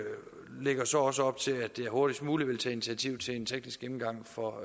så også lægger op til at jeg hurtigst muligt vil tage initiativ til en teknisk gennemgang for